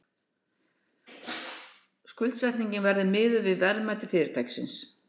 Skuldsetningin verði miðuð við verðmæti fyrirtækisins